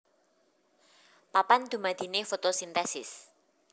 Papan dumadiné fotosintesis